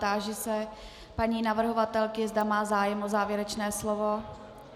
Táži se paní navrhovatelky, zda má zájem o závěrečné slovo.